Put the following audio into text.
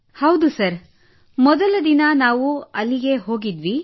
ಹೌದು ಸರ್ ಮೊದಲ ದಿನ ನಾವು ಅಲ್ಲಿಗೆ ಹೋದೆವು